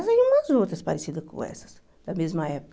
Essas e umas outras parecidas com essas, da mesma época.